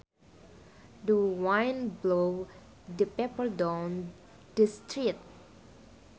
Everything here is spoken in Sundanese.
The wind blew the paper down the street